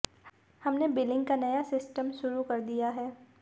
हमने बिलिंग का नया सिस्टम शुरू कर दिया है